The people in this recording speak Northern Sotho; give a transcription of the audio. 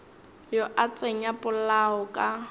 yo a tsenya polao ka